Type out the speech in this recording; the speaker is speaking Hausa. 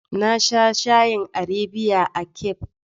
Na sha shayin Arabiya a cafe.